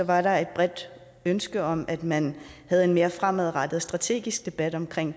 var der et bredt ønske om at man havde en mere fremadrettet strategisk debat om